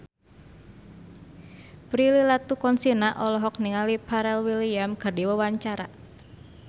Prilly Latuconsina olohok ningali Pharrell Williams keur diwawancara